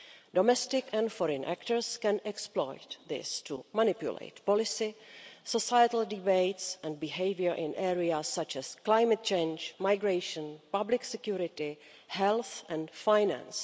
Domestic and foreign actors can exploit this to manipulate policy, societal debates and behaviour in areas such as climate change, migration, public security, health and finance.